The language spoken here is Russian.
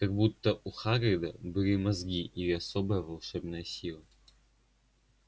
как будто у хагрида были мозги или особая волшебная сила